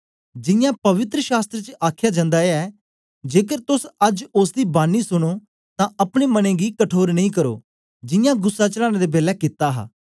जियां पवित्र शास्त्र च आखया जन्दा ऐ जेकर तोस अज्ज ओसदी बानी सुनो तां अपने मनें गी कठोर नेई करो जियां गुस्सा चढ़ाने दे बेलै कित्ता हा